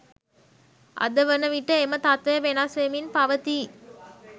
අද වන විට එම තත්ත්වය වෙනස් වෙමින් පවතී